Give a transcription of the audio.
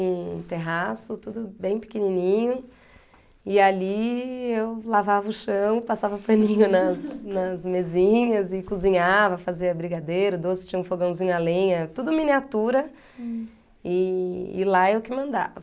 um terraço, tudo bem pequenininho, e ali eu lavava o chão, passava paninho nas nas mesinhas e cozinhava, fazia brigadeiro, doce, tinha um fogãozinho a lenha, tudo miniatura, hm, e e lá eu que mandava.